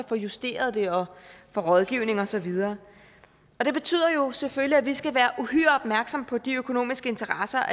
få justeret dem dér og få rådgivning og så videre og det betyder jo selvfølgelig skal være uhyre opmærksomme på om de økonomiske interesser